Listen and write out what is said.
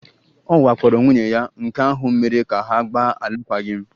Ọ wakporo nwunye ya, nke ahụ mere ka ha gbaa alụkwaghịm